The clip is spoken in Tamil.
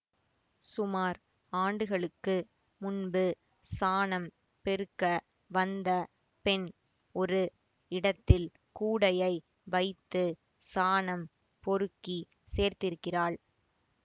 சுமார் ஆண்டுகளுக்கு முன்பு சானம் பெருக்க வந்த பெண் ஒரு இடத்தில் கூடையை வைத்து சானம் பொறுக்கிச் சேர்த்திருக்கிறாள்